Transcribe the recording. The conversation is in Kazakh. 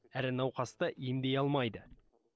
әрі науқасты емдей алмайды